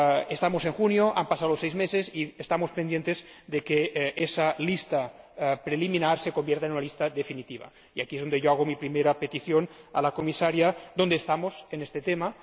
Estamos en junio, han pasado seis meses y estamos pendientes de que esa lista preliminar se convierta en una lista definitiva y aquí es donde yo hago mi primera pregunta a la Comisaria ¿dónde estamos en este tema?